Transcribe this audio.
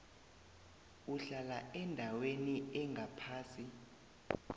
uhlala endaweni engaphasi